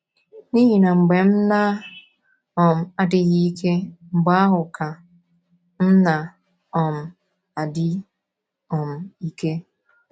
N’ihi na mgbe m na um - adịghị ike, mgbe ahụ ka m na - um adị um ike. ”